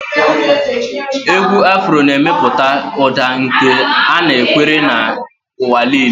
Égwù afro na-emepụta ụda nke anakwere n'ụwa niile.